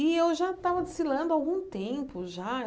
E eu já estava desfilando há algum tempo, já.